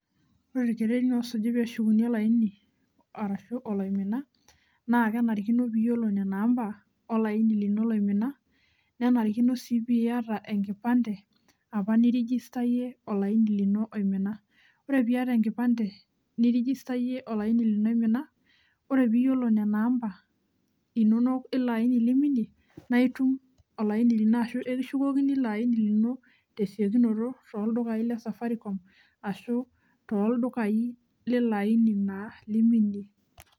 Ore olkererin osuji peeshukuni olaini ashu oloimina, naa kenarikino piiyiolou nena amba olaini lino loimina, nenarikino sii piyata sii piyata enkipante apa nirijistayie olaini lino oimina. Ore piyata enkipante nirijistayie olaini lino oimina ore piiyilo nena amba inono ilo aini liminie, naaitum olaini lino ashu ekishukokini ilo aini lino tesiokinoto tooldukayi le safarikom ashu tooldukayi lilo aini naa liminie.